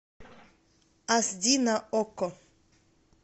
аш ди на окко